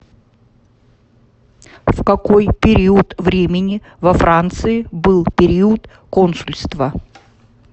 в какой период времени во франции был период консульства